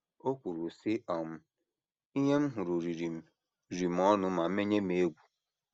O kwuru, sị: um “ Ihe m hụrụ riri m riri m ọnụ ,ma menye m egwu".